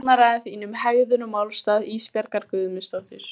Varnarræða þín um hegðun og málstað Ísbjargar Guðmundsdóttur.